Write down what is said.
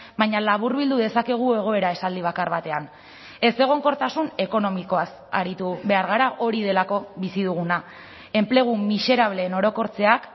baina laburbildu dezakegu egoera esaldi bakar batean ezegonkortasun ekonomikoaz aritu behar gara hori delako bizi duguna enplegu miserableen orokortzeak